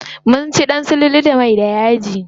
Mun ci ɗan sululu da mai da yaji.